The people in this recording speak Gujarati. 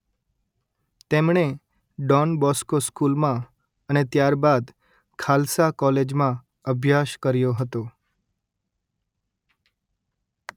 તેમણે ડોન બોસ્કો સ્કુલમાં અને ત્યાર બાદ ખાલસા કોલેજમાં અભ્યાશ કર્યો હતો